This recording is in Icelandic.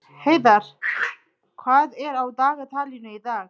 Heiðarr, hvað er á dagatalinu í dag?